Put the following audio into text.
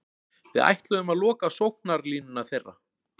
Við ætluðum að loka á sóknarlínuna þeirra.